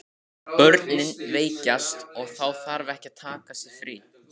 Börnin veikjast og þá þarf að taka sér frí.